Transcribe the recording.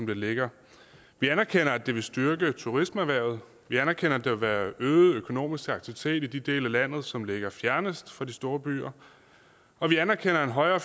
ligger vi anerkender at det vil styrke turismeerhvervet vi anerkender at der vil være øget økonomisk aktivitet i de dele af landet som ligger fjernest fra de store byer og vi anerkender at en højere